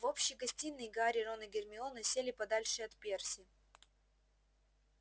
в общей гостиной гарри рон и гермиона сели подальше от перси